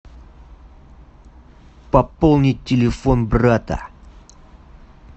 пополнить телефон брата